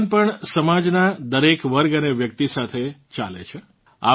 ભગવાન પણ સમાજનાં દરેક વર્ગ અને વ્યક્તિ સાથે ચાલે છે